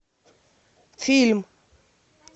фильм